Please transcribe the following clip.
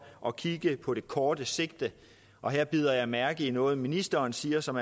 at kigge på det korte sigt og her bider jeg mærke i noget ministeren siger som